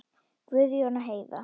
Guðjón og Heiða.